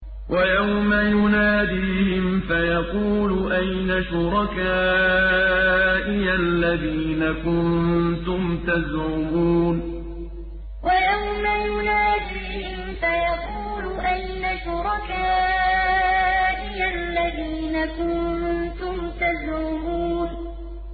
وَيَوْمَ يُنَادِيهِمْ فَيَقُولُ أَيْنَ شُرَكَائِيَ الَّذِينَ كُنتُمْ تَزْعُمُونَ وَيَوْمَ يُنَادِيهِمْ فَيَقُولُ أَيْنَ شُرَكَائِيَ الَّذِينَ كُنتُمْ تَزْعُمُونَ